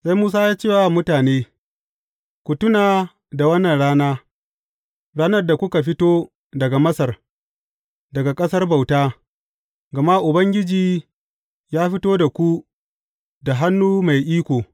Sai Musa ya ce wa mutane, Ku tuna da wannan rana, ranar da kuka fito daga Masar, daga ƙasar bauta, gama Ubangiji ya fito da ku da hannu mai iko.